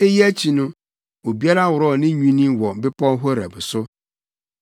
Eyi akyi no, obiara worɔw ne nnwinne wɔ Bepɔw Horeb so.